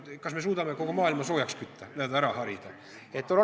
Kas me suudame kogu maailma soojaks kütta, n-ö ära harida?